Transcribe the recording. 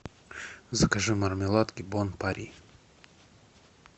закажи мармеладки бон пари